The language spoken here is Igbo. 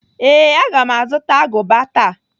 Ee, aga m azụta agụba taa.